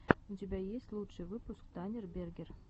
у тебя есть лучший выпуск танирберген